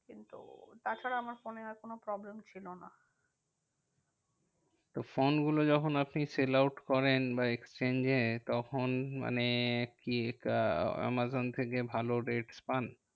কিন্তু তাছাড়া আমার ফোনে আর কোনো problem ছিল না। তো ফোনগুলো যখন আপনি sell out করেন বা exchange এ তখন মানে কি এটা আমাজন থেকে ভালো rate পান?